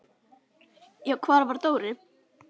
Já, hvar var Dóri?